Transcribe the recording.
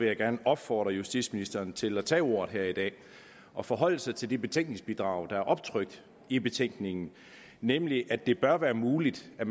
jeg gerne opfordre justitsministeren til at tage ordet her i dag og forholde sig til de betænkningsbidrag der er optrykt i betænkningen nemlig at det bør være muligt at